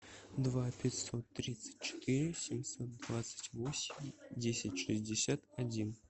два пятьсот тридцать четыре семьсот двадцать восемь десять шестьдесят один